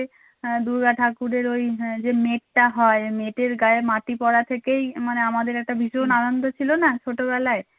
হ্যাঁ দূর্গা ঠাকুরের ঐ যে নেটটা হয় নেটের গায়ে মাটি পড়া থেকেই মানে আমাদের একটা ভীষণ আনন্দ ছিল না ছোট বেলায়